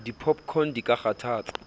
di popcorn di ka kgathatsa